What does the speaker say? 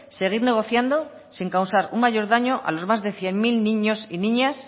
seguir negociando sin causar un mayor daño a los más de cien mil niños y niñas